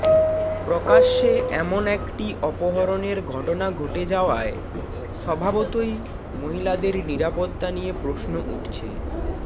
প্রকাশ্যে এমন একটি অপহরণের ঘটনা ঘটে যাওয়ায় স্বভাবতই মহিলাদের নিরাপত্তা নিয়ে প্রশ্ন উঠছে